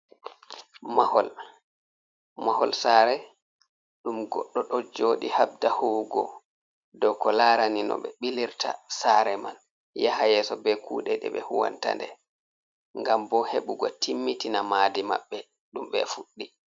Mahol: Mahol saare ɗum goɗɗo ɗo jooɗi habda huwugo dow ko larani no ɓe ɓilirta saare man yaha yeso be kuɗe ɗe ɓe huwanta nde, ngam bo heɓugo timmitina maadi maɓɓe ɗum ɓe fuɗɗi.